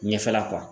Ɲɛfɛla